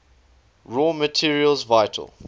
raw materials vital